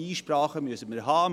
Einsprachen müssen wir haben.